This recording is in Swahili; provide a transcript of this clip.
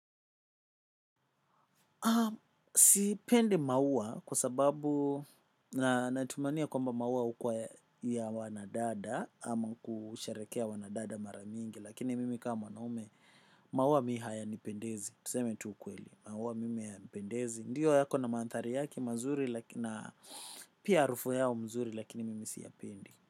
Sipendi maua kwa sababu na natumania kwamba maua hukuwa ya wanadada ama kusheherekea wanadada mara mingi. Lakini mimi kama mwanaume maua mi haya nipendezi, tuseme tu ukweli, maua mimi haya nipendezi ndiyo yako na mandhari yake mazuri na pia harufu yao mzuri lakini mimi siya pendi.